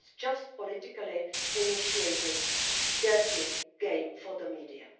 It was just politically initiated, a dirty game for the media.